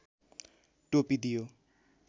टोपी दियो